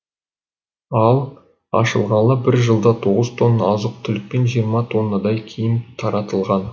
ал ашылғалы бір жылда тоғыз тонна азық түлік пен жиырма тоннадай киім таратылған